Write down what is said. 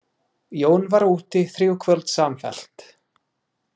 Jón var úti þrjú kvöld samfellt.